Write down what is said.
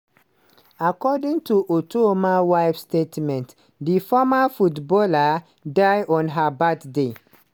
according to otuoma wife statement di former footballer die on her birthday.